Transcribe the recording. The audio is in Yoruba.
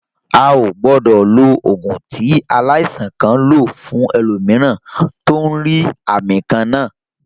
A ò gbọdọ̀ lo ògùn tí aláìsàn kan lò fún ẹlòmíràn tó ń rí àmì kan náà.